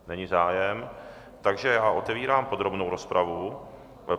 Není zájem, takže já otevírám podrobnou rozpravu.